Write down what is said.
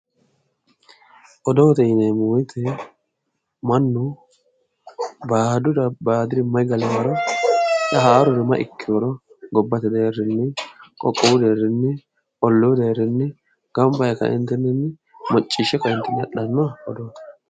odoote yineemmo woyiite mannu baalurira baadiri may galewooro haaruri may ikkewooro gobbate deerrinni qoqqowu deerrinni olluu deerrinni gamba yee ka"eentinni macciishshe ka"eentinni adhanno odooti.